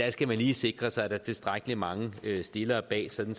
skal man lige sikre sig at der er tilstrækkelig mange stillere bag sådan